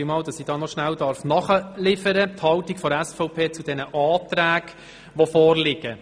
Es geht um die Haltung der SVP zu den Auflagen des Abänderungsantrags.